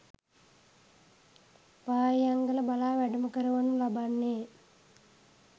පාහියන්ගල බලා වැඩම කරවනු ලබන්නේ